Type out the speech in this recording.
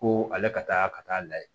Ko ale ka taa ka taa lajɛ